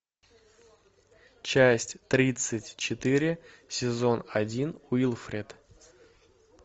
часть тридцать четыре сезон один уилфред